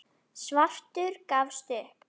Svartur gafst upp.